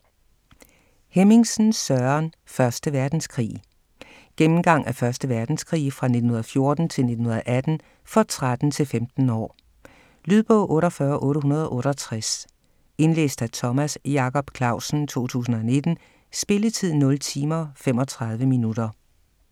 Hemmingsen, Søren: 1. verdenskrig Gennemgang af 1. verdenskrig fra 1914 til 1918. For 13-15 år. Lydbog 48868 Indlæst af Thomas Jacob Clausen, 2019. Spilletid: 0 timer, 35 minutter.